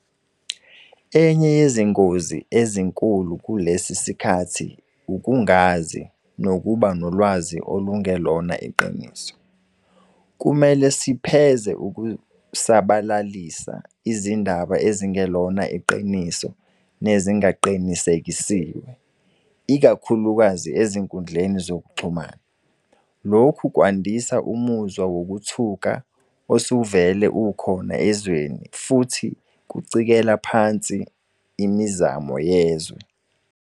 Enye yezingozi ezinkulu kulesi sikhathi ukungazi nokuba nolwazi olungelona iqiniso. Kumele sipheze ukusabalalisa izindaba ezingelona iqiniso nezingaqinisekisiwe, ikakhulukazi ezinkundleni zokuxhumana. Lokhu kwandisa umuzwa wokuthuka osuvele ukhona ezweni futhi kucekela phansi imizamo yezwe.